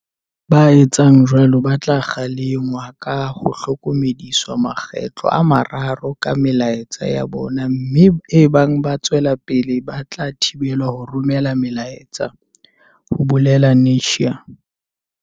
"Ba etsang jwalo ba tla kgalengwa ka ho hlokomediswa makgetlo a mararo ka melaetsa ya bona mme ebang ba tswela pele ba tla thibelwa ho romela melaetsa," ho bolela Netshiya.